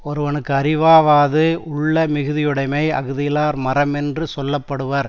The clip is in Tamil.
ஒருவனுக்கு அறிவாவாது உள்ளமிகுதியுடைமை அஃதில்லார் மரமென்று சொல்ல படுவர்